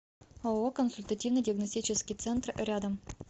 ооо консультативно диагностический центр рядом